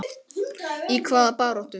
Inga Sæland: Í hvaða baráttu?